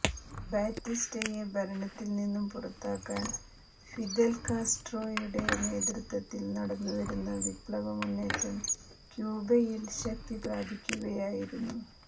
ബാറ്റിസ്റ്റയെ ഭരണത്തിൽ നിന്നും പുറത്താക്കാൻ ഫിദൽ കാസ്ട്രോയുടെ നേതൃത്വത്തിൽ നടന്നു വരുന്ന വിപ്ലവമുന്നേറ്റം ക്യൂബയിൽ ശക്തിപ്രാപിക്കുകയായിരുന്നു